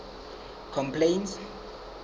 complaints